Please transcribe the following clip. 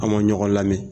An ma ɲɔgɔn lamɛn